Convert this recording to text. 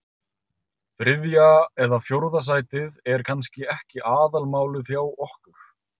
Þriðja eða fjórða sætið er kannski ekki aðalmálið hjá okkur.